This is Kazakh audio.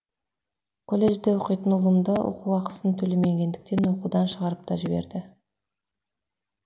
колледжде оқитын ұлымды оқу ақысын төлемегендіктен оқудан шығарып та жіберді